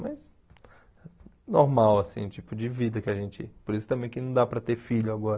Mas é normal, assim, o tipo de vida que a gente... Por isso também que não dá para ter filho agora.